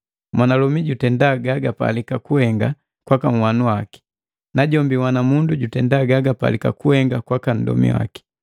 Mwanalomi jutenda gagapalika kuhenga kwaka nhwana mundu, najombi unhwana mundu jutenda gajupalika kuhenga kwaka nndomi waki.